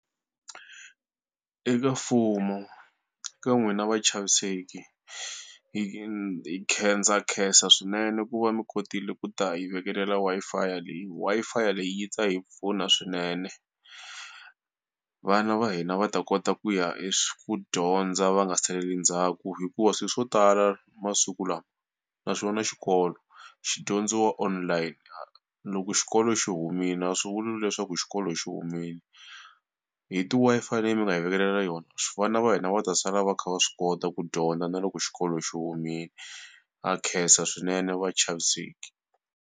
Eka mfumo ka n'wina vachaviseki hi ndza khensa swinene ku va mi kotile ku ta hi vekelela Wi-Fi leyi. Wi-Fi leyi yi ta hi pfuna swinene. Vana va hina va ta kota ku ya ku dyondza va nga saleli ndzhaku hikuva swilo swo tala masiku lawa naxona xikolo xi dyondziwa online . Loko xi xikolo xi humile a swi vuli leswaku xikolo xi humile hi ti-Wi-Fi leyi mi nga hi vekelela yona vana va hina va ta sala va kha va swi kota ku dyondza na loko xikolo xi humile. Ha khensa swinene vachaviseki.